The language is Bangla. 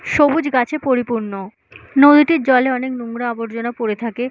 সবুজ গাছে পরিপূর্ণ নদীটির জলে অনেক নোংরা আবর্জনা পড়ে থাকে।